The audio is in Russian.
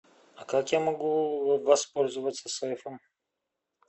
как я могу воспользоваться сейфом